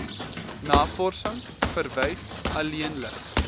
navorsing verwys alleenlik